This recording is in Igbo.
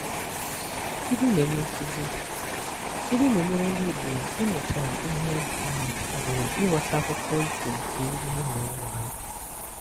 Ilu na-enye nkuzi: Ilu na-enyere ndị Igbo ịmụta íhé ma ọ bụ ịghọta akụkọ ifo nke ndị nna nna ha.